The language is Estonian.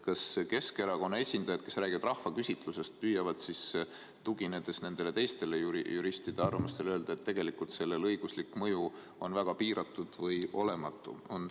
Kas Keskerakonna esindajad, kes räägivad rahvaküsitlusest, püüavad tuginedes teistele juristide arvamustele öelda, et tegelikult selle õiguslik mõju on väga piiratud või olematu?